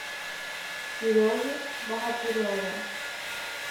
сереги богатырева